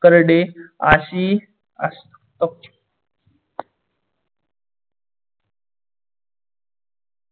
करडे आशी